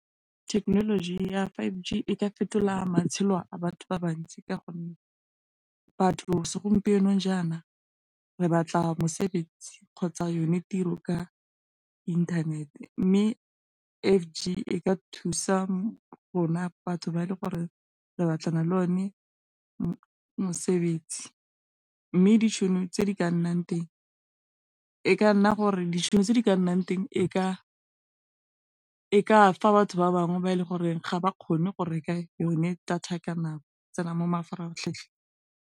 Thekenoloji ya five G e ka fetola matshelo a batho ba bantsi ka gonne, batho segompienong jaana re batla mosebetsi kgotsa yone tiro ka inthanete, mme e ka thusa rona batho ba e le gore re batlana le o ne mosebetsi, mme ditšhono tse di ka nnang teng e ka e ka fa batho ba bangwe ba e le goreng ga ba kgone go reka yone data ka nako tsena mo mafaratlhatlheng.